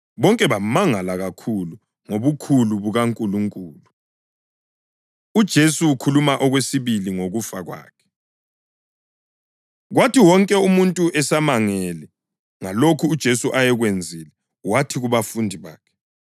Bonke bamangala kakhulu ngobukhulu bukaNkulunkulu. UJesu Ukhuluma Okwesibili Ngokufa Kwakhe Kwathi wonke umuntu esamangele ngalokho uJesu ayekwenzile, wathi kubafundi bakhe,